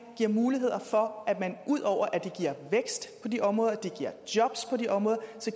giver muligheder ud over at det giver vækst på de områder og det giver jobs på de områder